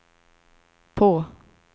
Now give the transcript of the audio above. på